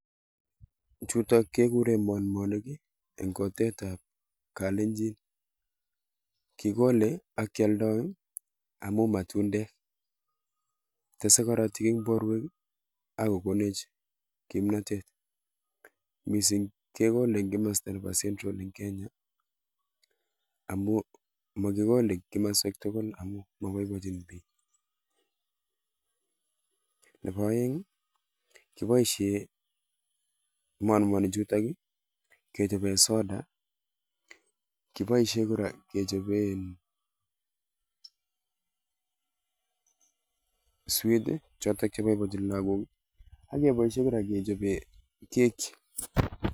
Chutok kegure monmonik eng kutitab kalenjin. Kikolei ak kialdoi amun matundek. Tesei korotik eng porwek ak kokonech kimnatet. Mising kekolei eng komosta nebo central eng kenya amu makikolei eng komswek tugul amun magoi kochun ichek. Nebo oeng, kiboushe monmonik chutok kechope soda, kipoishe kora kechope sweet chotok boibochin lagok ak keboishe kora kechope kaki.